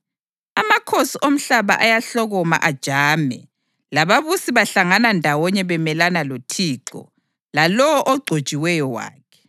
Amakhosi omhlaba ayahloma ajame lababusi bahlangana ndawonye bemelana loThixo lalowo Ogcotshiweyo wakhe.’ + 4.26 AmaHubo 2.1-2